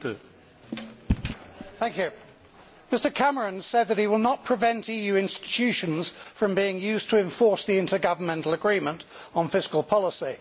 Mr President, Mr Cameron said that he will not prevent EU institutions from being used to enforce the intergovernmental agreement on fiscal policy.